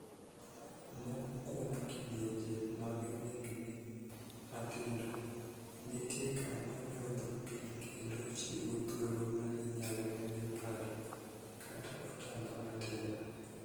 Moko kuom kidienje mag nengni matindo nitie kama nyodho pii kendo chiwo thuolo ma inyal mede 'pad' kata otamba matin.